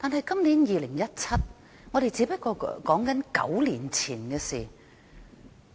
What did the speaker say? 今年是2017年，我們說的只不過是9年前的事。